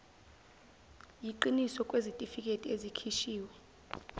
yiqiniso kwesitifiketi esikhishiwe